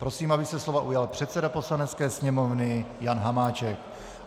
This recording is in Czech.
Prosím, aby se slova ujal předseda Poslanecké sněmovny Jan Hamáček.